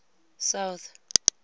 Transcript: south